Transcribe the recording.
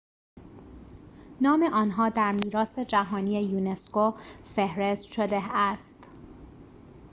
نام آنها در میراث جهانی یونسکو فهرست شده است